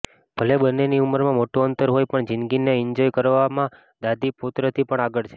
ભલે બંનેની ઉંમરમાં મોટું અંતર હોય પણ જિંદગીને એન્જોય કરવામાં દાદી પૌત્રથી પણ આગળ છે